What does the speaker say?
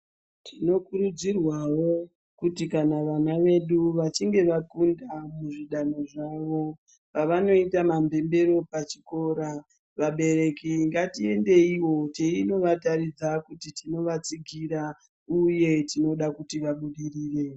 Tinokurudzirwawo kuti kana vana vedu vachinge vakunda pazvidanho zvavo pavanoita mhemberero pachikora vabereki ngatiendeiwo teindovataridza kuti tinovatsigira uye tinoda kuti vabudirire.